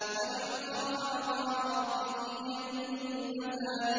وَلِمَنْ خَافَ مَقَامَ رَبِّهِ جَنَّتَانِ